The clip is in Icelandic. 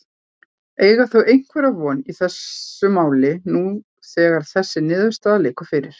Eiga þau einhverja von í þessu máli nú þegar þessi niðurstaða liggur fyrir?